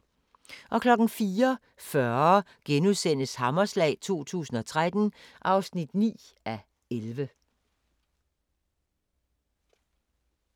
04:40: Hammerslag 2013 (9:11)*